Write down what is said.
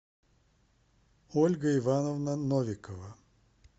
ольга ивановна новикова